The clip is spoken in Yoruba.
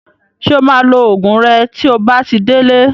Ṣé o máa lo Ògùn rẹ tí o bá ti délé